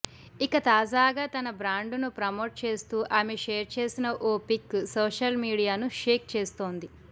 ఇక తాజాగా తన బ్రాండును ప్రమోట్ చేస్తూ ఆమె షేర్ చేసిన ఓ పిక్ సోషల్ మీడియాను షేక్ చేస్తోంది